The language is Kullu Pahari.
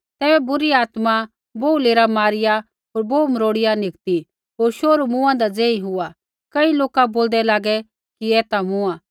तैबै बुरी आत्मा बोहू लेरा मारिया होर बोहू मरोड़िया निकती होर शोहरू मूँआदा ज़ेही हुआ कई लौका बोलदै लागै कि ऐ ता मूँआ